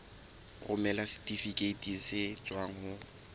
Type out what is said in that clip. romela setifikeiti se tswang ho